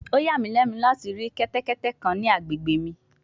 O ya mi lẹnu lati ri kẹtẹkẹtẹ kan ni agbegbe mi